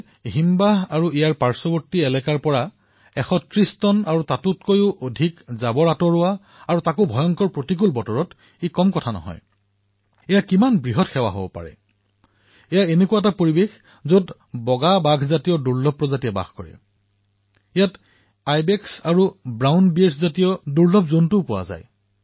এনে অৱস্থাত শৃংগ আৰু ইয়াৰ ওচৰপাজৰৰ অঞ্চলসমূহৰ পৰা ১৩০ টন আৰু ইয়াতকৈও অধিক আৱৰ্জনা পৰিষ্কাৰ কৰা তাকো ভংগুৰ পৰিবেশতন্ত্ৰৰ মাজত ই কেনে মহান সেৱা ইয়াত লতামাকৰি বাঘৰ দৰে দুৰ্লভ প্ৰজাতিৰ পৰিবেশতন্ত্ৰ আছে ইয়াৰ আইবেক্স আৰু মুগা ভালুকৰ দৰে দুৰ্লভ প্ৰজাতিৰ জন্তু থাকে